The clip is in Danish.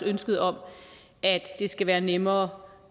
ønsket om at det skal være nemmere